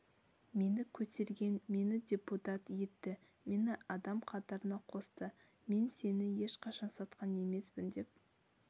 мені көтерген мені депутат етті мені адам қатарына қосты мен сені ешқашан сатқан емеспін деп